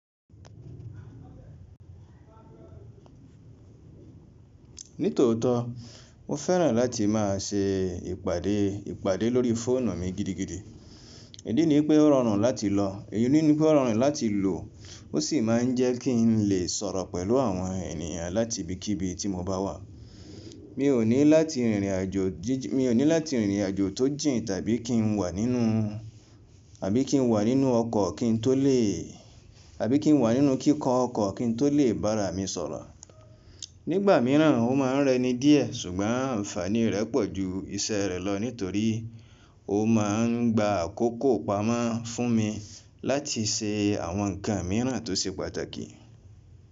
Nítòótó, mo fẹ́ràn láti má a ṣe ìpàdé ìpàdé lórí fóònù mi gidigidi. Idí ní pé ó rọrùn láti lò, èyí ni pé ó rọrùn láti lò, ó sì má a ń jẹ́ kí n lè sọ̀rọ̀ pẹ̀lú àwọn ènìyàn láti ibikíbi tí mo bá wà. Mi ò ní láti rìnrìn àjò tó jìn tàbí kí n wà nínú ọkọ̀ kí n tó lè, àbí kí n wà nínú kíkọ ọkọ̀ kí n tó lè bára mi sọ̀rọ̀. Nígbà míràn ó ma ń rẹ ni díẹ̀, ṣùgbọ́n ànfàní rẹ̀ pọ̀ ju iṣẹ́ rẹ̀ lọ nítorí ó ma ń gba àkókò pamọ́ fún mi láti ṣe àwọn nǹkan míràn tó ṣe pàtàkì.